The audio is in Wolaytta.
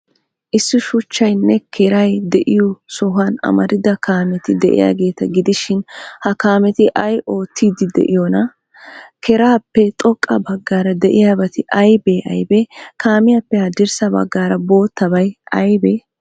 Issi shuchchaaynne keray de'iyoo sohuwan amarida kaameti de'iyaageeta gidishin, ha kaameti ay oottiiddi de'iyoonaa? Keraappe xoqqa baggaara de'iyaabati aybee aybee? Kaamiyaappe haddirssa baggaara boottabay aybee?